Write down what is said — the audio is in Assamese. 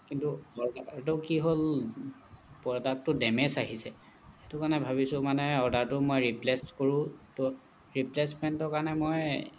কিন্তু এইটো কি হ'ল product টো damage আহিছে সেইটো কাৰণে ভাৱিছো মানে order টো মই replace কৰোঁ তহ replacement ৰ কাৰণে মই